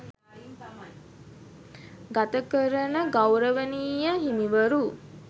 ගතකරන ගෞරවනීය හිමිවරු